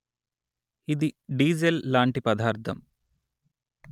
ఇది డీజెల్ లాంటి పదార్థం